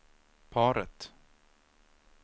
paret